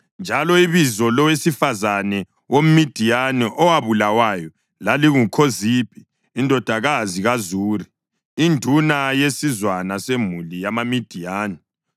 Njalo ibizo lowesifazane woMidiyani owabulawayo lalinguKhozibhi indodakazi kaZuri, induna yesizwana semuli yamaMidiyani.